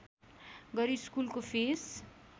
गरी स्कुलको फिस